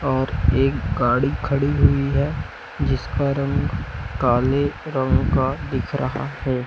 और एक गाड़ी खड़ी हुई है जिसका रंग काले रंग का दिख रहा है।